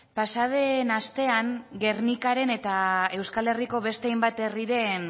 pasaden astean gernikaren eta euskal herriko beste hainbat herriren